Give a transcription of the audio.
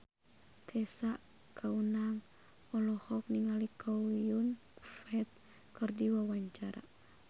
Tessa Kaunang olohok ningali Chow Yun Fat keur diwawancara